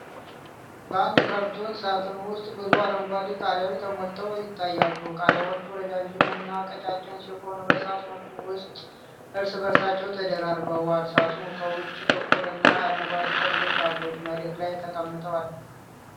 በአንድ ካርቶን ሳጥን ውስጥ ብዙ አረንጓዴ ቃሪያዎች ተሞልተው ይታያሉ። ቃሪያዎቹ ረዣዥም እና ቀጫጭን ሲሆኑ፤ በሳጥኑ ውስጥ እርስ በርሳቸው ተደራርበዋል። ሳጥኑ ከውጪ ጥቁር እና አረንጓዴ ጠርዞች አሉት፤ መሬት ላይ ተቀምጧል።